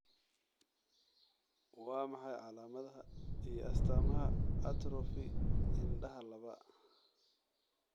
Waa maxay calamadaha iyo astaamaha atrophy indhaha laba?